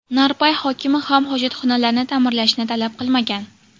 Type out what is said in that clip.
Narpay hokimi ham hojatxonalarni ta’mirlashni talab qilmagan.